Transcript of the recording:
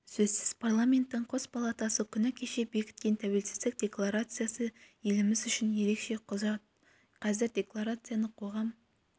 сөзсіз парламенттің қос палатасы күні кеше бекіткен тәуелсіздік декларациясы еліміз үшін ерекше құжат қазір декларацияны қоғам